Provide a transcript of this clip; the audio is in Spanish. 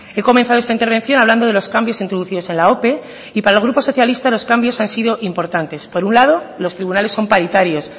he comenzado esta intervención hablando de los cambios introducidos en la ope y para el grupo socialista los cambios han sido importantes por un lado los tribunales son paritarios